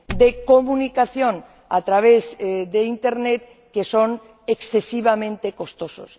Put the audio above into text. de comunicación a través de Internet que son excesivamente elevados.